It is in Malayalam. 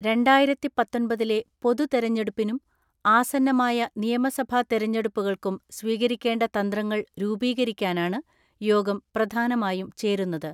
രണ്ടായിരത്തിപത്തൊൻപതിലെ പൊതുതെരഞ്ഞെടുപ്പിനും ആസന്നമായ നിയമസഭാ തെരഞ്ഞടുപ്പുകൾക്കും സ്വീകരിക്കേണ്ട തന്ത്രങ്ങൾ രൂപീകരിക്കാനാണ് യോഗം പ്രധാനമായും ചേരുന്നത്.